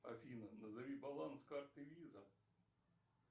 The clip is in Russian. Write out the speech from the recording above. афина назови баланс карты виза